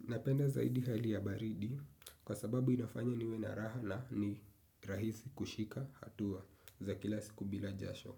Napenda zaidi hali ya baridi kwa sababu inafanya niwe na raha na ni rahisi kushika hatua za kila siku bila jasho.